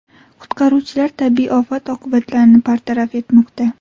Qutqaruvchilar tabiiy ofat oqibatlarini bartaraf etmoqda.